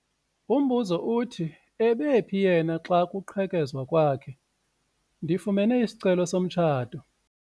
Umbuzo uthi ebephi yena xa kuqhekezwa kwakhe? ndifumene isicelo somtshato